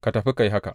Ka tafi, ka yi haka.’